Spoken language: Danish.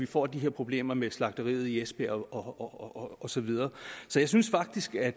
får de her problemer med slagteriet i esbjerg og så videre så jeg synes faktisk at